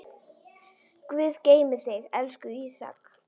Guð geymi þig, elsku Ísak.